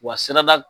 Wa sirada